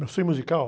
musical?